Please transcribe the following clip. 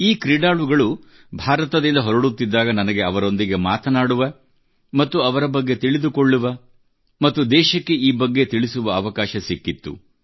ಈ ಕ್ರೀಡಾಳುಗಳು ಭಾರತದಿಂದ ಹೊರಡುತ್ತಿದ್ದಾಗ ನನಗೆ ಅವರೊಂದಿಗೆ ಮಾತನಾಡುವ ಮತ್ತು ಅವರ ಬಗ್ಗೆ ತಿಳಿದುಕೊಳ್ಳುವ ಮತ್ತು ದೇಶಕ್ಕೆ ಈ ಬಗ್ಗೆ ತಿಳಿಸುವ ಅವಕಾಶ ಸಿಕ್ಕಿತ್ತು